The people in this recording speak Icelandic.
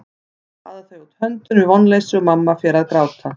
Svo baða þau út höndunum í vonleysi og mamma fer að gráta.